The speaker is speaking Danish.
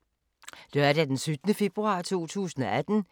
Lørdag d. 17. februar 2018